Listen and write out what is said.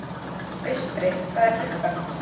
Austri, hvað er klukkan?